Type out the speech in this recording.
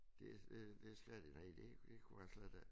Det det det skal de nej det det kunne jeg slet ikke